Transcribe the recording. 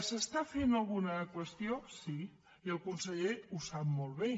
s’està fent alguna qüestió sí i el conseller ho sap molt bé